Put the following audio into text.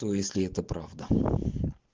то если это правда